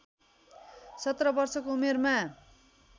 १७ वर्षको उमेरमा